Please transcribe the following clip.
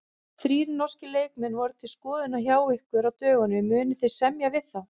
Þrír norskir leikmenn voru til skoðunar hjá ykkur á dögunum, munið þið semja við þá?